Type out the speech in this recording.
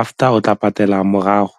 after o tla patela morago.